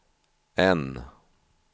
N